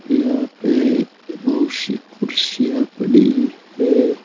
यहां पे बहुत सी कुर्सियां पड़ी हैं।